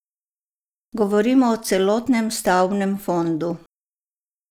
Govorimo o celotnem stavbnem fondu.